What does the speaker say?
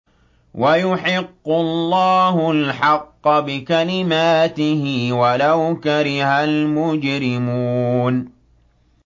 وَيُحِقُّ اللَّهُ الْحَقَّ بِكَلِمَاتِهِ وَلَوْ كَرِهَ الْمُجْرِمُونَ